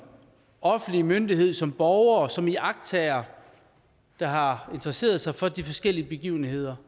offentlig myndighed som borger som iagttager der har interesseret sig for de forskellige begivenheder